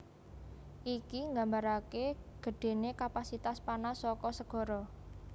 Iki nggambaraké gedhéné kapasitas panas saka segara